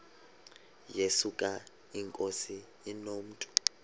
yesuka inkosi inomntu